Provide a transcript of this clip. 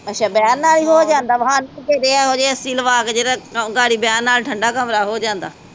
ਅੱਛਾ, ਬਹਿਨ ਹੋ ਜਾਂਦਾ, ਇਹੋ AC ਲਵਾ, ਜਿਹੜਾ ਇਕ ਵਾਰੀ ਬਹਿਨ ਨਾਲ ਠੰਡਾ ਕਮਰਾ ਹੋ ਜਾਂਦਾ।